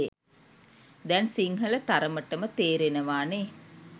දැන් සිංහල තරමටම තේරෙනවානේ